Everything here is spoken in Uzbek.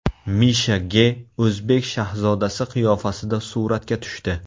Misha Ge o‘zbek shahzodasi qiyofasida suratga tushdi .